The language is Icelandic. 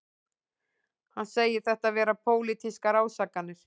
Hann segir þetta vera pólitískar ásakanir